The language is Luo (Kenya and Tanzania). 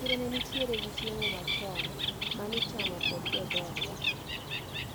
Chiro nenitiere gi chiemo machon manichamo kod jodhodwa.